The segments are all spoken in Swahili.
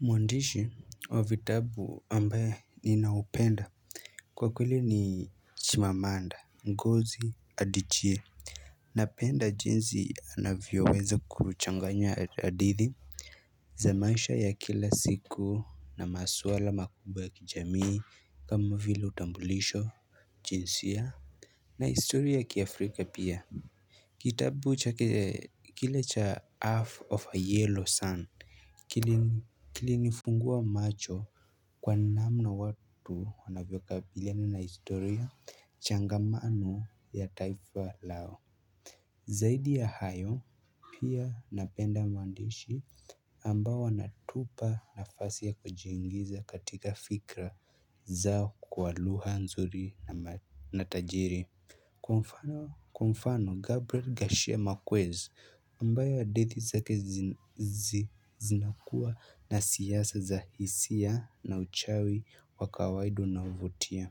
Mwandishi wa vitabu ambaye ninaupenda kwa kweli ni Chimamanda Ngozi Adichie. Napenda jinsi anavyoweza kuchanganya hadithi za maisha ya kila siku na maswala makubwa ya kijamii kama vile utambulisho, jinsia na historia ya kiafrika pia. Kitabu chake, kile cha half of a yellow sun. Kilinifungua macho kwa namna watu wanavyokabiliani na historia changamano ya taifa lao. Zaidi ya hayo pia napenda mwandishi ambao wanatupa nafasi ya kujiingiza katika fikra zao kwa lugha nzuri na tajiri, kwa mfano. Kwa mfano, Gabriel Gashemakwezi ambayo hadithi zake zinakuwa na siasa za hisia na uchawi wa kawaida unaovutia.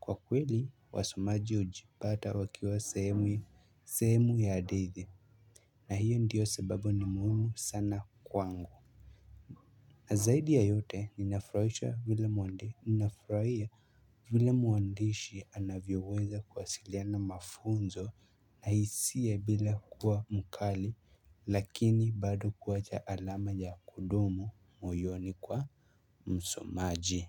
Kwa kweli wasomaji hujipata wakiwa sehemu ya hadithi. Na hiyo ndiyo sababu ni muhimu sana kwangu. Na zaidi ya yote ninafurahishwa vile mwandishi, ninafurahia vila mwandishi anavyoweza kuwasiliana mafunzo na hisia bila kuwa mkali lakini bado kuwacha alama ya kudumu moyoni kwa msomaji.